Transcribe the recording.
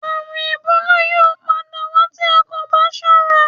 Àrùn ẹ̀bólà yóò padà wá tí a kò bá sọ́ra